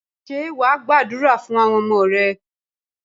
Ṣé wà á gbàdúrà fún àwọn ọmọ rẹ?